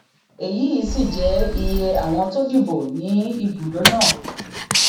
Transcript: èyí sì jẹ iye àwọn tó dìbò ní ibùdó náà